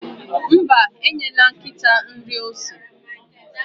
Mba, enyela ose nkịta nri.